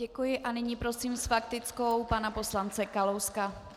Děkuji a nyní prosím s faktickou pana poslance Kalouska.